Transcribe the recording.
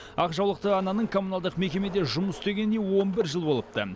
ақ жаулықты ананың коммуналдық мекемеде жұмыс істегеніне он бір жыл болыпты